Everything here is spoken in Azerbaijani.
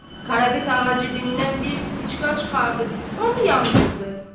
Qarabet ağa cibindən bir spicka çıxardıb, onu yandırdı.